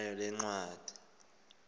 nayo le ncwadi